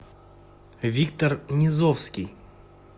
виктор низовский